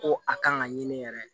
Ko a kan ka ɲini yɛrɛ